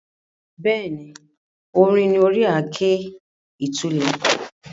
Bẹ́ẹ̀ni, irin ni ori àáké ìtúlẹ̀.